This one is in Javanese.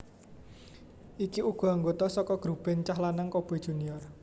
Iku uga anggota saka grup band cah lanang Coboy Junior